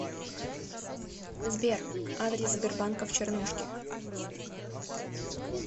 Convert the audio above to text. сбер адрес сбербанка в чернушке